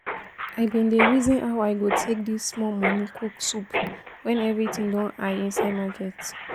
I bin dey reason how I go take this small money cook soup when everything don high inside market